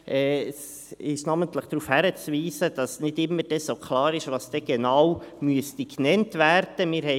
Es ist namentlich darauf hinzuweisen, dass nicht immer klar ist, was genau genannt werden müsste.